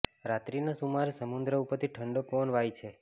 રાત્રિના સુમારે સમુદ્ર ઉપરથી ઠંડો પવન વાય છે